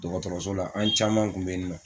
Dɔgɔtɔrɔso la an caman tun bɛ yen nɔ